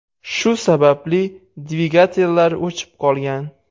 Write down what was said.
Shu sababli dvigatellar o‘chib qolgan.